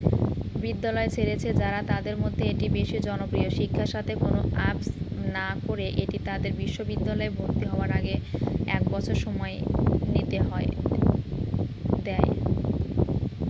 বিদ্যালয় ছেড়েছে যারা তাদের মধ্যে এটি বেশী জনপ্রিয় শিক্ষার সাথে কোন আপস না করে এটি তাদের বিশ্ববিদ্যালয়ে ভর্তি হওয়ার আগে এক বছর সময় নিতে দেয়